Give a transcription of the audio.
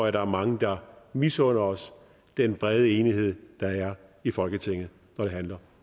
at der er mange der misunder os den brede enighed der er i folketinget når det handler